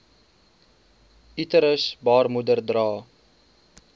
uterus baarmoeder dra